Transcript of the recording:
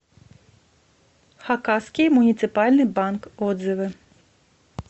хакасский муниципальный банк отзывы